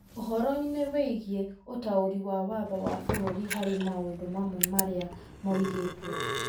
ũhoro-inĩ wĩgiĩ ũtaũri wa Watho wa bũrũri harĩ maũndũ mamwe marĩa moigĩtwo.